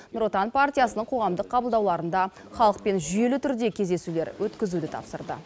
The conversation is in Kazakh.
нұр отан партиясының қоғамдық қабылдауларында халықпен жүйелі түрде кездесулер өткізуді тапсырды